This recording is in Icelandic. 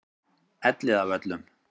Elliðavöllum